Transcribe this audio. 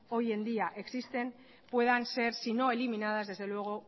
hoy en día existen puedan ser si no eliminadas desde luego